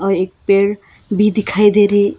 एक पेड़ भी दिखाई दे रही--